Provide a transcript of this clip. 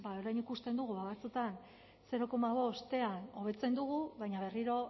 orain ikusten dugu batzuetan zero koma bostean hobetzen dugu baina berriro